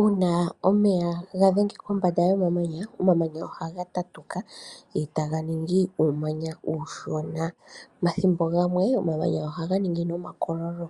Uuna omeya gadhenge kombanda yomamanya, omamanya ohaga tatuka e taganingi uumanya uushona mathimbo gamwe omamanya ohaga ningi nomakoololo